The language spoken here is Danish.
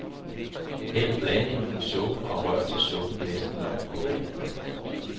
Hæld blandingen i suppen og rør til suppen næsten når kogepunktet.